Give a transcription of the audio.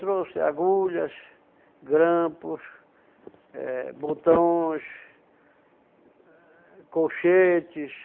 Trouxe agulhas, grampos, eh botões, colchetes,